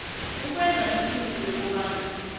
ukwenza iqiniso lokobana